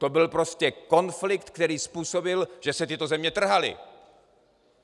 To byl prostě konflikt, který způsobil, že se tyto země trhaly.